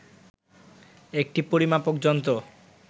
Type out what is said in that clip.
একটি পরিমাপক যন্ত্র